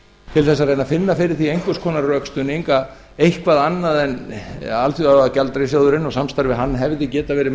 til að reyna að finna fyrir því einhvers konar rökstuðning að eitthvað annað en alþjóðagjaldeyrissjóðurinn og samstarfið við hann hefði getað verið